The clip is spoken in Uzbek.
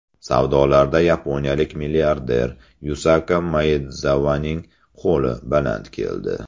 Savdolarda yaponiyalik milliarder Yusaka Maedzavaning qo‘li baland keldi.